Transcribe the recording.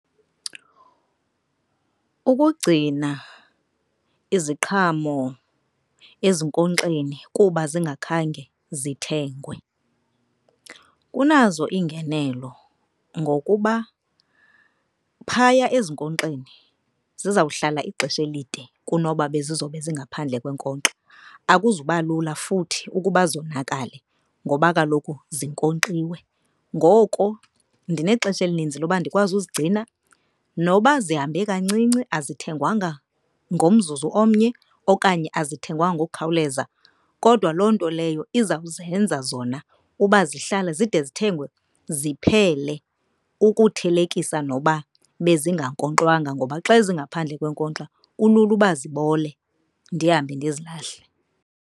Ukugcina iziqhamo ezinkonkxeni kuba zingakhange zithengwe kunazo iingenelo ngokuba phaya ezinkonkxeni zizawuhlala ixesha elide kunoba bezi zobe zingaphandle kwenkonkxa. Akuzuba lula futhi ukuba zonakale, ngoba kaloku zinkonkxiwe. Ngoko ndinexesha elininzi loba ndikwazi uzigcina noba zihambe kancinci azithengwanga ngomzuzu omnye okanye azithengwanga ngokukhawuleza. Kodwa loo nto leyo iza kuzenza zona uba zihlale zide zithengwe ziphele ukuthelekisa noba bezingankonkxwanga. Ngoba xa zingaphandle kwenkonkxa kulula uba zibole ndihambe ndizilahle.